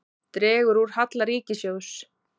Dregur úr halla ríkissjóðs